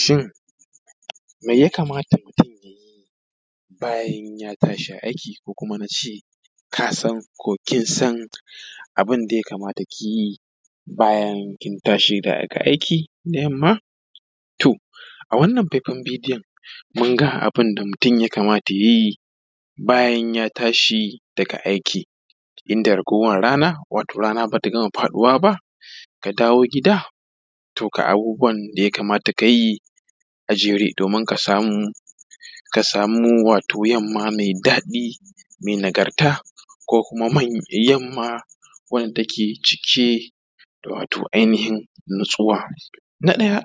Shin mai ya kamata mutun yayi bayan ya tashi aiki ko kuma nace ka san ko kin san abin da ya kamata kiyi bayan kin tashi daga aiki da yamma? To a wannan faifan bidiyon mun ga abin da mutum ya kamata yayi bayan ya tashi daga aiki inda ragowar rana, wato rana ba ta gama faɗuwa ba, ka dawo gida, to ga abubuwan da ya kamata ka ka yi a jere domin ka samu wato yamma mai daɗi mai nagarta, ko kuma yamma wanda take cike wato da ainihin natsuwa. Na ɗaya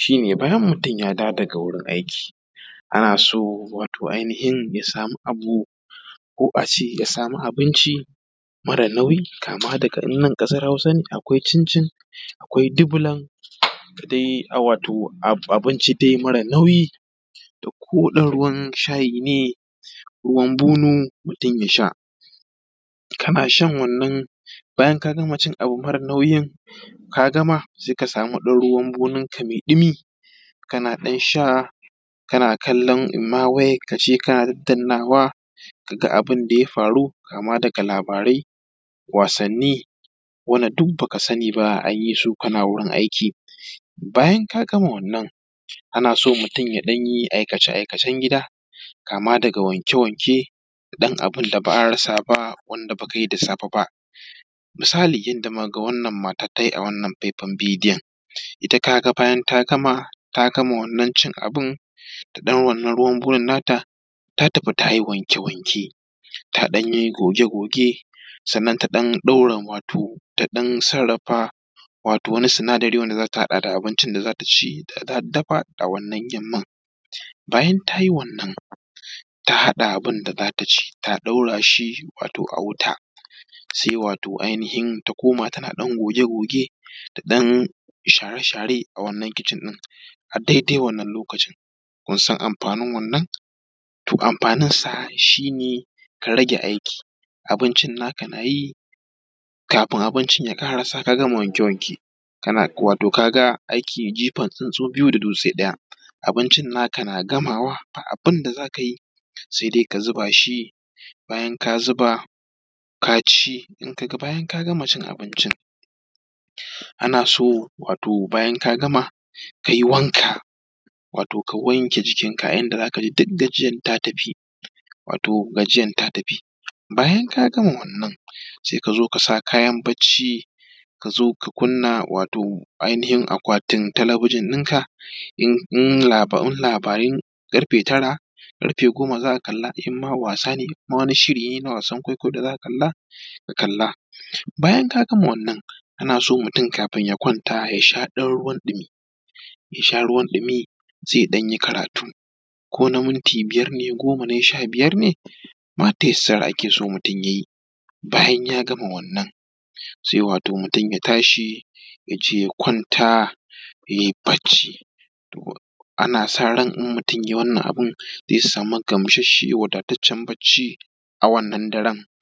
shi ne bayan mutun yad awo daga wurin aiki, ana so wato ainihin ya samu abu, ko abinci mara nauyi kama daga in nan ƙasan hausa ne akwai cincin, akwai dubulan, da dai abinci dai mara nauyi, da ko dai ruwan shayi ne, ruwan bunu, mutum ya samu ya sha, ka na shan wannan, bayan ka gama cin abu mara nauyin, ka gama sai ka samu ɗan ruwan bunun ka mai ɗumi kana ɗan sha kana kallon imma wayan ka ce kana dannawa ka ga abun da ya faru kama daga labarai, wasanni, wanda duk baka sani ba an yi su kana wurin aiki. Bayan ka gama wannan, ana so mutun ya ɗan yi aikece aikacen gida kama daga wanke wanke, da abin da ba a rasa ba wanda ba ka yi da safe ba. Misali yadda naga wannan matan ta yi a wannan faifan bidiyn ita ka ga bayan ta gama cin wannan abun da ɗan wannan ruwan bunun na ta, ta tafi ta yi wanke wanke, ta ɗan yi goge goge, sannan ta ɗan ɗaura wato ta ɗan sarrafa wato wani sinadari wanda z ata haɗa da abincin da za ta ci da za ta dafa a wannan yamman. Bayan ta yi wannan, ta haɗa abun da za ta ci, ta ɗaura shi a wuta, sai wato ainihin ta koma tana goge goge da ɗan share share a wannan kicin ɗin, a dai dai wannan lokacin. Kun san amfanin wannan? To amfaninsa shine ka rage aikin abincin na ka na yi, kafin abincin ya ƙarisa ka gama wanke wanke, wato ka ga aiki jifan tsuntsu biyu da dutse ɗaya. Abincin na ka na gamawa ba abun da za ka yi sai dai ka zuba shi, bayan ka zuba ka ci, daga bayan ka gama cin abincin ana so wato bayan ka gama, ka yi wanka, wato ka wanke jikinka a yanda za ka ji duk gajiyan ta tafi wato gajiyan ta tafi. Bayan ka gama wannan to sai ka zo ka sa kayan bacci ka zo ka kunna wato ainihin akwatin talabijin ɗinka in labarin ƙarfe tara, ƙarfe goma za ka kalla, imma wasane, ko wani shiri ne n awasan kwaikwayo da zaka kalla, ka kalla. Bayan ka gama wannan ana so mutun kafin ya kwanta ya sha ɗan ruwan ɗimi sai ya ɗan yi karatu kona minti biyar ne, goma ne, sha biyar ne, ma ta yassara akeso mutun ya yi. Bayan ya gama wannan sai wato mutun ya tashi ya je ya kwanta yai bacci ana saran in mutun yayi wannan abun zai samu gamsashshen wadataccan bacci a wannan daran.